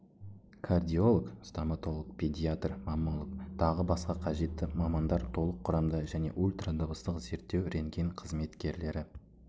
кардиолог стоматолог педиатр маммолог тағы басқа қажетті мамандар толық құрамда және ультрадыбыстық зерттеу рентген қызметкерлері